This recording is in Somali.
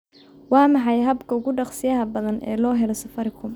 waa maxay habka ugu dhaqsiyaha badan ee loo helo safaricom